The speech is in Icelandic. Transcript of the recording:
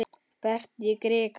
Berta í krikann?